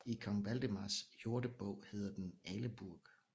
I Kong Valdemars Jordebog hedder den Aleburgh